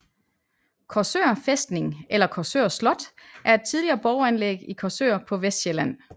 Korsør Fæstning eller Korsør Slot er et tidligere borganlæg i Korsør på Vestsjælland